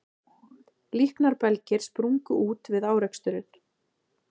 Líknarbelgir sprungu út við áreksturinn